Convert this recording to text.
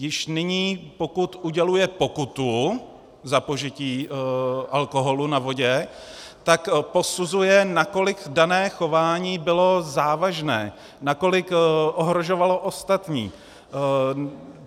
Již nyní, pokud uděluje pokutu za požití alkoholu na vodě, tak posuzuje, nakolik dané chování bylo závažné, nakolik ohrožovalo ostatní.